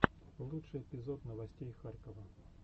лучший эпизод новостей харькова